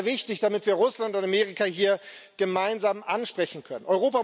Das ist sehr wichtig, damit wir Russland und Amerika hier gemeinsam ansprechen können.